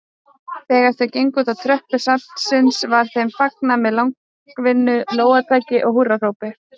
Þegar þau gengu útá tröppur safnsins var þeim fagnað með langvinnu lófataki og húrrahrópum.